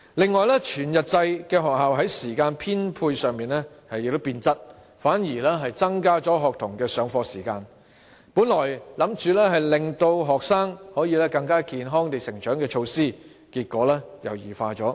此外，全日制學校在時間編配上亦變了質，反而增加學童的上課時間，原意是令學生可以更健康成長的措施，結果卻已經異化。